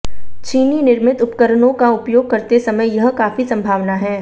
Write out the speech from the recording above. चीनी निर्मित उपकरणों का उपयोग करते समय यह काफी संभावना है